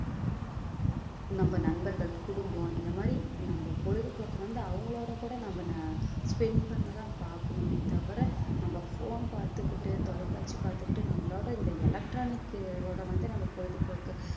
நம்ம நண்பர்கள் குடும்பம் இந்த மாதிரி நம்ம பொழுதுபோக்கு வந்து அவங்களோட கூட நம்ம ந~ spend பண்ணதான் பார்க்கணுமே தவிர நம்ம phone பார்த்து பாத்துகிட்டு தொலைக்காட்சி பார்த்துக்கிட்டு நம்மளோட இந்த electronic ஓட வந்து நம்ம பொழுதுபோக்க